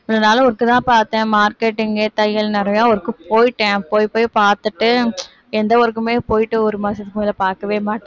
இவ்வளவு நாள் work தான் பார்த்தேன் marketing தையல் நிறைய work போயிட்டேன் போய் போய் பார்த்துட்டு எந்த work க்குமே போயிட்டு ஒரு மாசத்துக்கு மேல பார்க்கவே மாட்டேன்